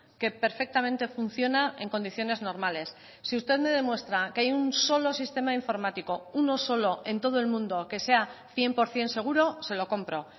que perfectamente funciona en condiciones normales si usted me demuestra que hay un solo sistema informático uno solo en todo el mundo que sea cien por ciento seguro se lo compro